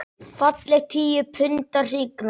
Falleg tíu punda hrygna.